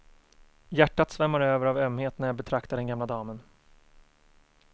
Hjärtat svämmar över av ömhet när jag betraktar den gamla damen.